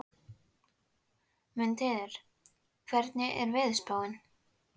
Mundheiður, hvernig er veðurspáin?